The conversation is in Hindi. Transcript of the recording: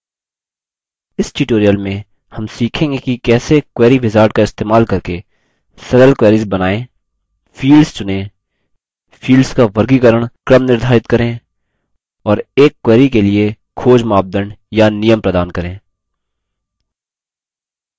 इस tutorial में हम सीखेंगे कि कैसे query wizard का इस्तेमाल करके सरल queries बनाएँ fields चुनें fields का वर्गीकरण क्रम निर्धारित करें और एक query के लिए खोज मापदंड या नियम प्रदान करें